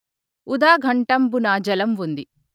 ఉదా ఘటంబునా జలం ఉంది